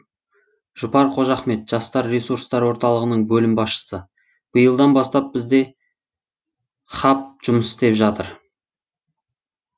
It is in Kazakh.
жұпар қожахмет жастар ресурстар орталығының бөлім басшысы биылдан бастап бізде хаб жұмыс істеп жатыр